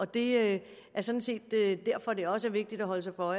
det er sådan set derfor at det også er vigtigt at holde sig for